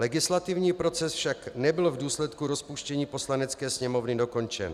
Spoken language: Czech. Legislativní proces však nebyl v důsledku rozpuštění Poslanecké sněmovny dokončen.